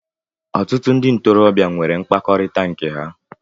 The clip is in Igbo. Ọtụtụ ndị ntorobịa nwere mkpakọrịta nke ha